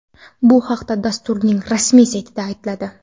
Bu haqda dasturning rasmiy saytida aytiladi .